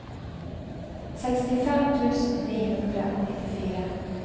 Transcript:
sekstifem tusen ni hundre og nittifire